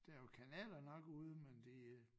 Der er jo kanaler nok ude men de øh